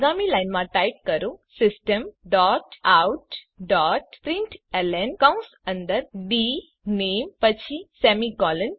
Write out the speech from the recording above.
આગામી લાઇનમાં ટાઇપ કરો system dot out dot println કૌંશ અંદર ડીનેમ પછી સેમીકોલન